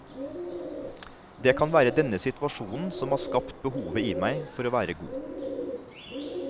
Det kan være denne situasjonen som har skapte behovet i meg for å være god.